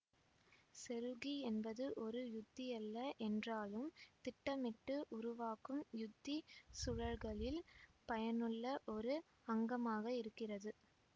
செருக்கி என்பது ஒரு உத்தியல்ல என்றாலும் திட்டமிட்டு உருவாக்கும் யுத்தி சூழல்களில் பயனுள்ள ஒரு அங்கமாக இருக்கிறது